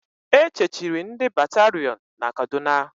E chechiri ndị batarion na Kaduna